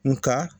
Nga